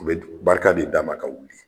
O bɛ barika de d'a ma ka wuli